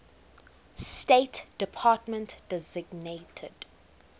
state department designated